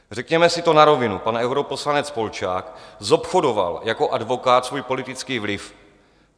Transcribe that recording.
Řekněme si to na rovinu: pan europoslanec Polčák zobchodoval jako advokát svůj politický vliv.